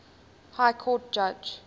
high court judge